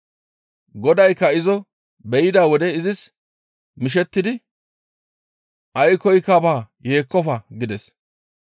Godaykka izo be7ida wode izis mishettidi, «Aykkoy baa; yeekkofa!» gides.